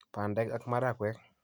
bandek ak marakwek